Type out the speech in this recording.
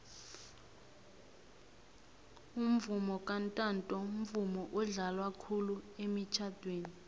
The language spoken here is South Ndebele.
umvomo kantanto mvumo odlalwa khulu emitjhadweni